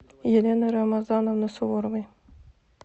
елены рамазановны суворовой